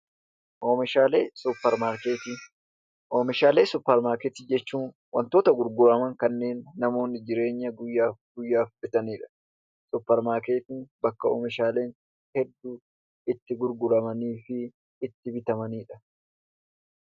Oomishaalee Suuparmaarketii Oomishaalee Suuparmaarketii jechuun wantoota gurguraman kanneen namoonni jireenya guyyaa guyyaaf bitani dha. Suuparmaarketiin bakka oomishaaleen hedduun itti gurguramanii fi itti bitamani dha.